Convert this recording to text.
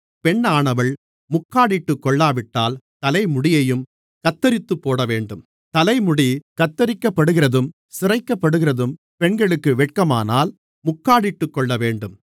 பெண்ணானவள் முக்காடிட்டுக்கொள்ளாவிட்டால் தலைமுடியையும் கத்தரித்துப்போடவேண்டும் தலைமுடி கத்தரிக்கப்படுகிறதும் சிரைக்கப்படுகிறதும் பெண்களுக்கு வெட்கமானால் முக்காடிட்டுக்கொள்ளவேண்டும்